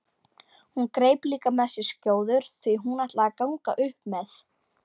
Hún greip líka með sér skjóður því hún ætlaði að ganga upp með